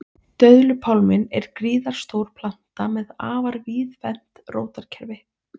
döðlupálminn er gríðarstór planta með afar víðfeðmt rótarkerfi